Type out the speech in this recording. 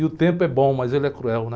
E o tempo é bom, mas ele é cruel, né?